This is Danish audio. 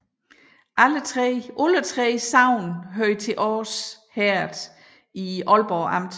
Alle 3 sogne hørte til Års Herred i Aalborg Amt